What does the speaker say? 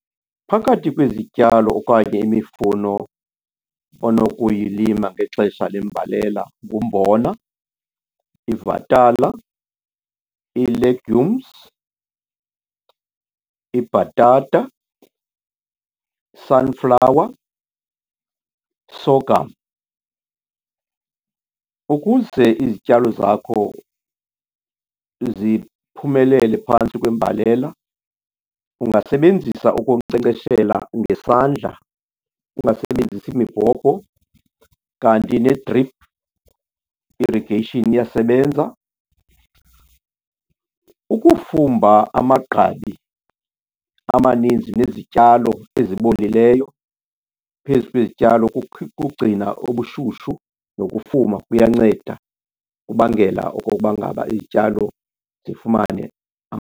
Phakathi kwezityalo okanye imifuno onokuyilima ngexesha lembalela ngumbona, ivatala, ii-legumes, ibhatata, sunflower, sorghum. Ukuze izityalo zakho ziphumelele phantsi kwembalela ungasebenzisa ukunkcenkceshela ngesandla, ungasebenzisi mibhobho, kanti ne-drip irrigation iyasebenza. Ukufumba amagqabi amaninzi nezityalo ezibolileyo phezu kwezityalo kugcina obushushu nokufuma kuyanceda. Kubangela okokuba ngaba izityalo zifumane .